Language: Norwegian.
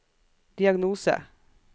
diagnose